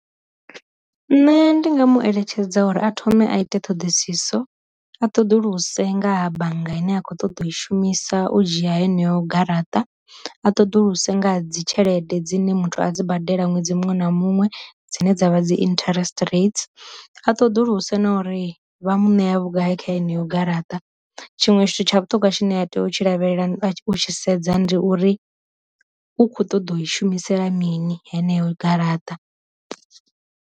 Nṋe ndi nga mu eletshedza uri a thome a ite ṱhoḓisiso a ṱoḓulusa nga bannga ine a khou ṱoḓa u i shumisa u dzhia heneyo garaṱa, a ṱoḓulusa nga dzi tshelede dzine muthu a dzi badela ṅwedzi muṅwe na muṅwe dzine dzavha dzi interest rates, a ṱoḓulusa na uri vha muṋe vhugai kha haneyo garaṱa, tshiṅwe tshithu tsha vhu ṱhongwa tshine a tea u tshi lavhelela u tshi sedza ndi uri u kho ṱoḓa u i shumisela mini heneyo garaṱa.